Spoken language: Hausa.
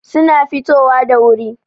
suna fitowa da wuri